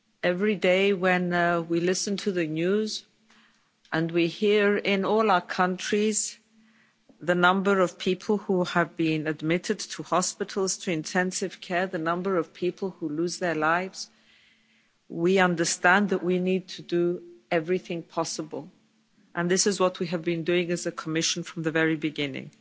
Every day when we listen to the news and we hear in all our countries the number of people who have been admitted to hospitals to intensive care, the number of people who lose their lives, we understand that we need to do everything possible, and this is what we have been doing as a Commission from the very beginning.